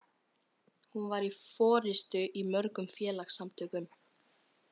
Hún var í forystu í mörgum félagasamtökum.